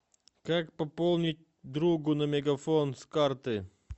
как пополнить другу на мегафон с карты